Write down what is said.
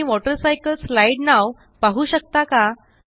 तुम्ही वॉटरसायकलस्लाईड नाव पाहू शकता का